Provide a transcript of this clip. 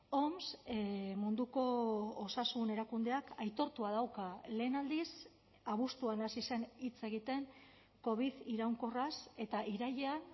oms munduko osasun erakundeak aitortua dauka lehen aldiz abuztuan hasi zen hitz egiten covid iraunkorraz eta irailean